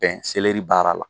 Bɛn seleri baara la